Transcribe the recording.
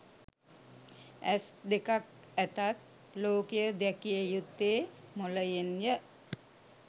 ඇස් දෙකක් ඇතත් ලෝකය දැකිය යුත්තේ මොලයෙන්ය